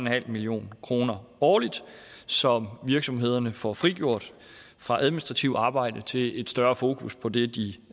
million kroner årligt som virksomhederne får frigjort fra administrativt arbejde til et større fokus på det de